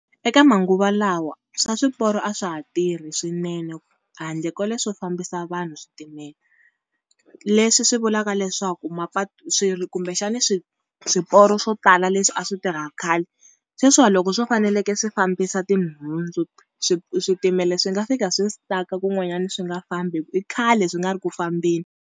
Eka manguva lawa swa swiporo a swa ha tirhi swinene handle ko leswo fambisa vanhu switimela. Leswi swi vulaka leswaku mapatu kumbexani swi swiporo swo tala leswi a swi tirha khale, sweswiwa loko swo faneleke swi fambisa tinhundzu switimela swi nga fika swi stuck-a kun'wanyani swi nga fambi hi ku i khale swi nga ri ku fambeni.